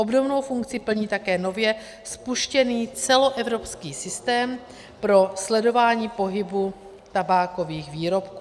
Obdobnou funkci plní také nově spuštěný celoevropský systém pro sledování pohybu tabákových výrobků.